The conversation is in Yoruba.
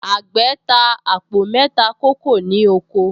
Àgbẹ̀̀ ta àpò mẹ́ta kókò ní oko